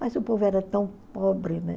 Mas o povo era tão pobre, né?